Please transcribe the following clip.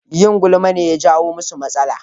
Yin gulma ne ya jawo musu matsala